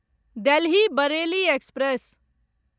Delhi Bareilly express